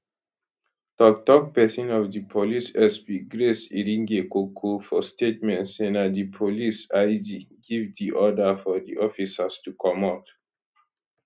toktok pesin of di police sp grace iringekoko for statement say na di police ig give di order for di officers to comot